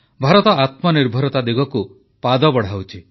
ଭାରତ ଆତ୍ମନିର୍ଭରତା ଦିଗକୁ ପାଦ ବଢ଼ାଉଛି